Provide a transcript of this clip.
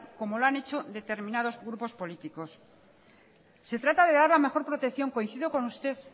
como lo han hecho determinados grupos políticos se trata de dar la mejor protección coincido con usted